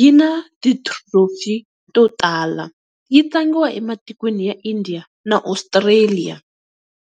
yi na ti-trophy to tala yi tlangiwa ematikweni ya India na Australia.